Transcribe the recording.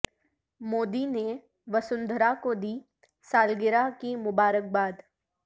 مودی نے وسندھرا کو دی سالگرہ کی مبارک باد